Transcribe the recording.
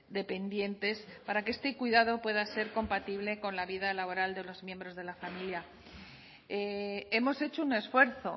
dependientes para que este cuidado pueda ser compatible con la vida laboral de los miembros de la familia hemos hecho un esfuerzo